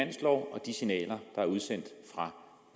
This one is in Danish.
og de signaler der er udsendt fra